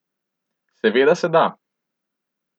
Seveda se da.